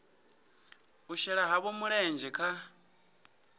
u shela havho mulenzhe kha